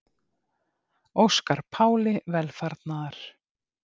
Óska Páli velfarnaðar